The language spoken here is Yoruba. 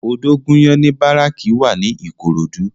Odogunyan ni báráki wá ni Ikorodu